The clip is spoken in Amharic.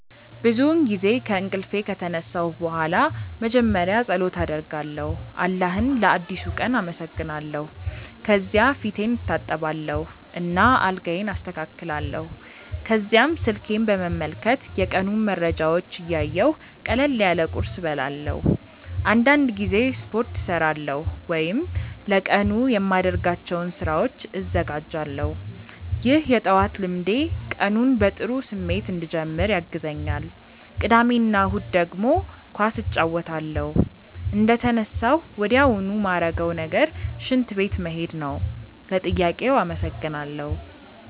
ብዙውን ጊዜ ከእንቅልፌ ከተነሳሁ በኋላ መጀመሪያ ፀሎት አደርጋለሁ አላህን ለአዲሱ ቀን አመሰግናለሁ። ከዚያ ፊቴን እታጠባለሁ እና አልጋዬን አስተካክላለሁ። ከዚያም ስልኬን በመመልከት የቀኑን መረጃዎች እያየሁ ቀለል ያለ ቁርስ እበላለሁ። አንዳንድ ጊዜ ስፖርት እሠራለሁ ወይም ለቀኑ የማደርጋቸውን ስራዎች እዘጋጃለሁ። ይህ የጠዋት ልምዴ ቀኑን በጥሩ ስሜት እንድጀምር ያግዘኛል። ቅዳሜ እና እሁድ ደግሞ ኳስ እጫወታለሁ። እንደተነሳሁ ወዲያውኑ ማረገው ነገር ሽንት ቤት መሄድ ነው። ለጥያቄው አመሰግናለው።